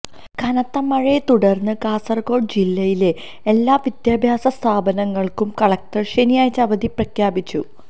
കനത്ത മഴയെ തുടര്ന്നു കാസര്കോട് ജില്ലയിലെ എല്ലാ വിദ്യാഭ്യാസ സ്ഥാപനങ്ങള്ക്കും കളക്ടര് ശനിയാഴ്ച അവധി പ്രഖ്യാപിച്ചു